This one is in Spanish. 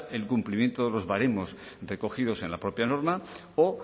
el cumplimiento de los baremos recogidos en la propia norma o